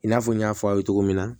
I n'a fɔ n y'a fɔ aw ye cogo min na